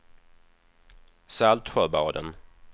Saltsjöbaden